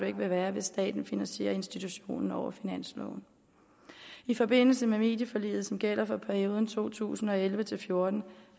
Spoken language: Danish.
ikke vil være hvis staten finansierer institutionen over finansloven i forbindelse med medieforliget som gælder for perioden to tusind og elleve til fjorten